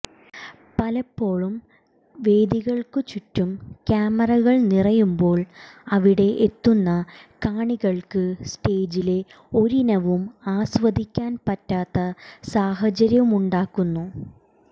പലപ്പോഴും വേദികൾക്കു ചുറ്റും ക്യാമറകൾ നിറയുമ്പോൾ അവിടെ എത്തുന്ന കാണികൾക്ക് സ്റ്റേജിലെ ഒരിനവും ആസ്വദിക്കാൻ പറ്റാത്ത സാഹചര്യവുമുണ്ടാകുന്നു